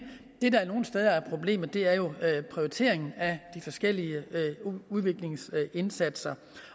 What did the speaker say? det der nogle steder er problemet er jo prioriteringen af de forskellige udviklingsindsatser